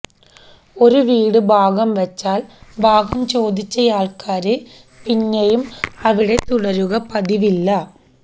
ഒരു വീട് ഭാഗം വച്ചാല് ഭാഗം ചോദിച്ചയാള്ക്കാര് പിന്നെയും അവിടെ തുടരുക പതിവില്ല